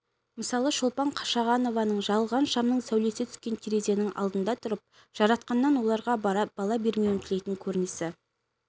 мысалы шолпан қашағанованың жағылған шамның сәулесі түскен терезенің алдында тұрып жаратқаннан оларға бала бермеуін тілейтін көрінісі